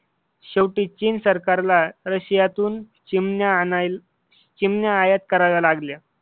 शेवटी चीन सरकारला रशियातून चिमण्या आयात कराव्या लागल्या.